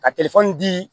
Ka di